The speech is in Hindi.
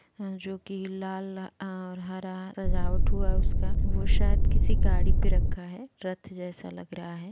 जो की लाल और हरा सजावट हुआ है उसका वो शायद किसी गाड़ी पे रखा है रथ जेसा लग रहा है।